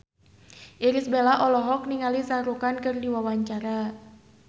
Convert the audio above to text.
Irish Bella olohok ningali Shah Rukh Khan keur diwawancara